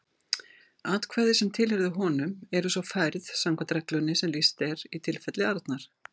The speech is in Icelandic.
Atkvæði sem tilheyrðu honum eru svo færð samkvæmt reglunni sem lýst er í tilfelli Arnar.